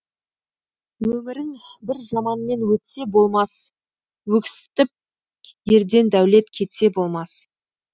өмірің бір жаманмен өтсе болмас өксітіп ерден дәулет кетсе болмас